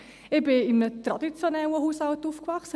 Aber ich bin in einem traditionellen Haushalt aufgewachsen.